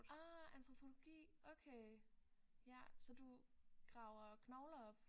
Ah antropologi okay ja så du graver knogler op